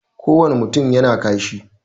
Ko wane mutum yana kashi